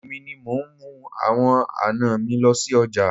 Èmi ni mo ń mú àwọn àná mi lọ sí ọjà.